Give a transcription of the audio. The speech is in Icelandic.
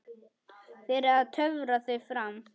Fyrir að töfra þau fram.